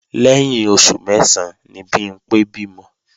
Lẹ́yìn oṣù mẹ́sán ni Bimpé bímọ